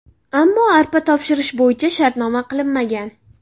Ammo arpa topshirish bo‘yicha shartnoma qilinmagan.